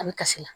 A bɛ kasi la